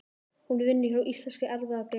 Hún vinnur hjá Íslenskri erfðagreiningu.